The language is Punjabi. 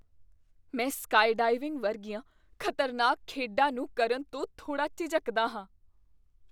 ਮੈਂ ਸਕਾਈਡਾਈਵਿੰਗ ਵਰਗੀਆਂ ਖ਼ਤਰਨਾਕ ਖੇਡਾਂ ਨੂੰ ਕਰਨ ਤੋਂ ਥੋੜ੍ਹਾ ਝਿਜਕਦਾ ਹਾਂ।